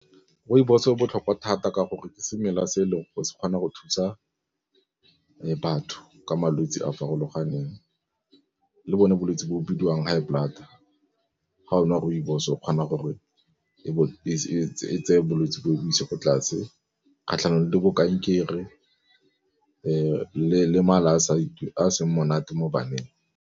Rooibos e botlhokwa thata ka gore ke semela se e leng go se kgone go thusa batho ka malwetse a farologaneng le bone bolwetse bo o bidiwang high blood, ga o nwa rooibos o kgona gore e tseye bolwetse boo e bo ise ko tlase kgatlhanong le bo kankere le mala a seng monate mo baneng.